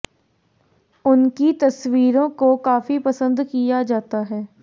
उनकी तस्वीरों को काफी पसंद भी किया जाता है